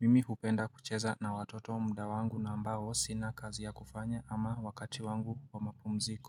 Mimi hupenda kucheza na watoto muda wangu na ambao sina kazi ya kufanya ama wakati wangu wa mapumziko.